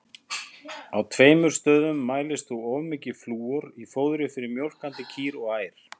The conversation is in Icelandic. Á tveimur stöðum mælist þó of mikið flúor í fóðri fyrir mjólkandi kýr og ær.